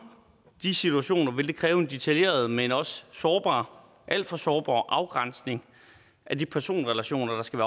de situationer vil det kræve en detaljeret men også alt for sårbar afgrænsning af de personrelationer der skal